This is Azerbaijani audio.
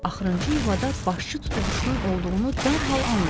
Axırıncı yuvada başçı tutuquşunun olduğunu dərhal anlayır.